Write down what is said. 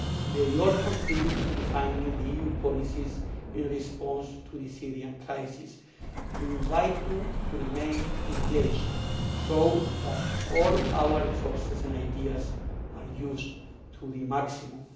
They all contribute to defining EU policies in response to the Syrian crisis. We invite you to remain engaged so that all our resources and ideas are used to the maximum.